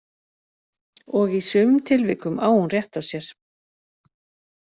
Og í sumum tilvikum á hún rétt á sér.